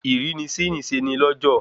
Ìrínisí nìse ni lọ́jọ̀